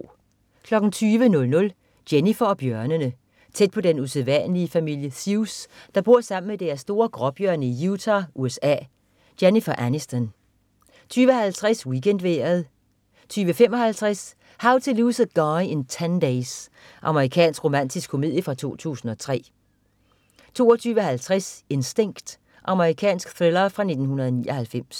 20.00 Jennifer og bjørnene. Tæt på den usædvanlige familie Seus, der bor sammen med deres store gråbjørne i Utah, USA. Jennifer Aniston 20.50 WeekendVejret 20.55 How to Lose a Guy in 10 Days. Amerikansk romantisk komedie fra 2003 22.50 Instinct. Amerikansk thriller fra 1999